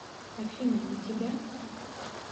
афина на тебя